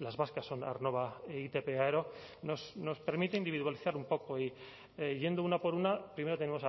las vascas son aernnova e itp aero nos permite individualizar un poco y yendo una por una primero tenemos